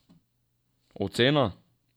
Ocena?